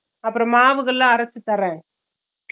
அப்பறம் மாவுகெல்ல அரச்சு தரேன்